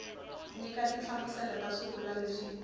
nyika tinhlamuselo ta swivulwa leswi